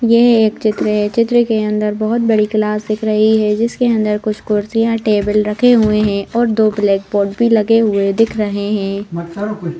यह एक चित्र है। चित्र के अंदर बहुत बड़ी क्लास दिख रही है। जिसके अंदर कुछ कुर्सियां टेबल रखे हुए हैं और दो ब्लैक बोर्ड भी लगे हुए दिख रहे हैं।